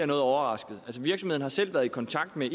noget overrasket virksomheden har selv været i kontakt med